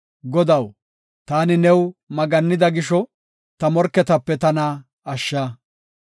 Godaw, taani new maggannida gisho, ta morketape tana ashsha.